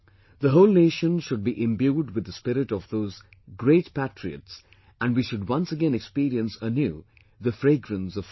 The whole nation should be imbued with the spirit of those great patriots and we should once again experience anew the fragrance of freedom